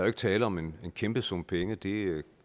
ikke tale om en kæmpe sum penge det